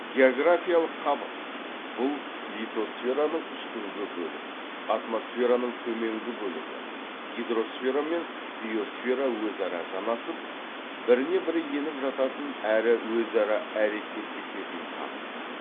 географиялық қабық бұл литосфераның үстіңгі бөлік атмосфераның төменгі бөлігі гидросфера мен биосфера өзара жанасып біріне бірі еніп жататын әрі өзара әрекеттесетін қабық